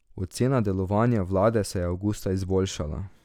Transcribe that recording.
Ocena delovanja vlade se je avgusta izboljšala.